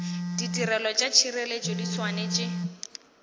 ditirelo tša tšhireletšo di swanetše